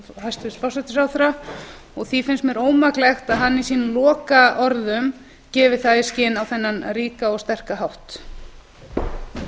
hæstvirts forsætisráðherra og því finnst mér ómaklegt að hann gefi það í skyn á þennan ríka og sterka hátt í lokaorðum sínum